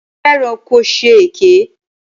Ṣé o fẹ́ràn ko ṣe èké?